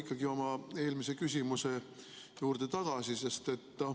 Ma tulen oma eelmise küsimuse juurde tagasi.